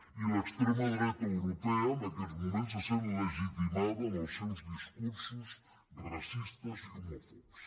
i l’extrema dreta europea en aquests moments se sent legitimada en els seus discursos racistes i homòfobs